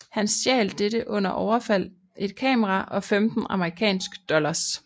Han stjal under dette overfald et kamera og 15 amerikansk dollars